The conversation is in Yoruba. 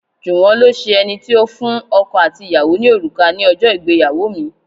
Juwon lo ṣe ẹni tí ó fún ọkọ àti ìyàwó ní òrùka ní ìgbéyàwó mi.